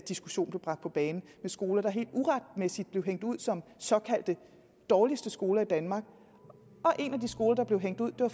diskussion blev bragt på bane med skoler der helt uretmæssigt blev hængt ud som såkaldte dårligste skoler i danmark en af de skoler der blev hængt ud blev